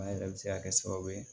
An yɛrɛ bɛ se ka kɛ sababu ye